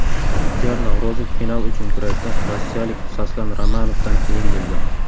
Ixtiyor Navro‘zov final uchun kurashda rossiyalik Soslan Ramonovdan yengildi.